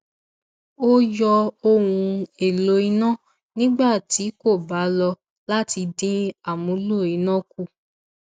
ó yọ ohun èlò iná nígbà tí kò bá lò láti dín amúlò iná kù